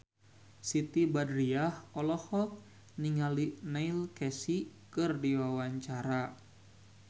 Siti Badriah olohok ningali Neil Casey keur diwawancara